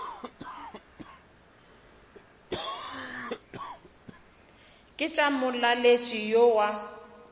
ke tša molaletši yo wa